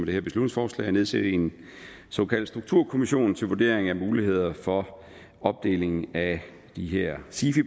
at nedsætte en såkaldt strukturkommission til vurdering af mulighederne for opdeling af de her sifi